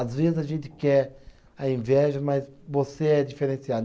Às vezes a gente quer a inveja, mas você é diferenciado.